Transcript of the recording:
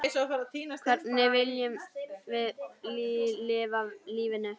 Hvernig viljum við lifa lífinu?